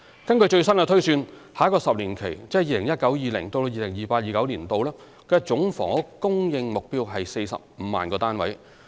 根據最新的推算，下一個10年期即 2019-2020 年度至 2028-2029 年度的總房屋供應目標為 450,000 個單位。